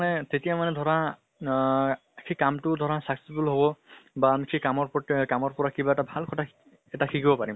মানে তেতিয়া মানে ধৰা আহ সেই কামটো ধৰা successful হব, বা আমি সেই কামৰ প্ৰতি অহ কামৰ পৰা কিবা এটা ভাল কথা এটা শিকিব পাৰিম।